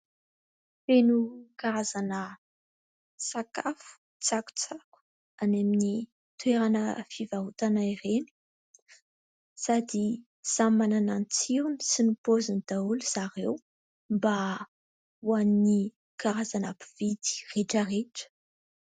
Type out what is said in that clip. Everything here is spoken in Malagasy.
Feno karazana sakafo, tsakotsako any amin'ny toerana fivarotana ireny sady samy manana ny tsirony sy ny paoziny daholo zareo mba ho an'ny karazana mpividy rehetra rehetra.